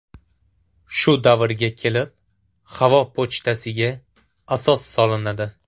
Shu davrga kelib havo pochtasiga asos solinadi.